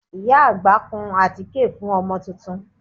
Ìyá àgbà kun àtíkè fún ọmọ tuntun